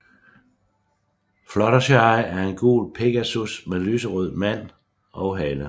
Fluttershy er en gul pegasus med lyserød man og hale